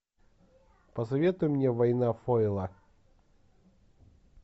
посоветуй мне война фойла